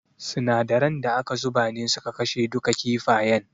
Sinadaran da aka zuba ne suka kashe duka kifayen.